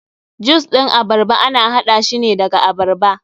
Jus ɗin abarba ana haɗa shine daga abarba.